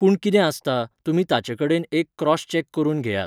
पूण कितें आसता, तुमी ताचेकडेन एक क्रॉस चॅक करून घेयात